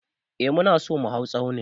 Eh mu na so mu hau tsaunin.